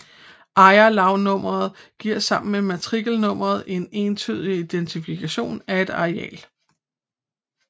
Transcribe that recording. Ejerlavsnummeret giver sammen med matrikelnummeret en entydig identifikationen af et areal